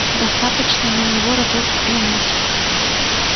достаточно на него разок взглянуть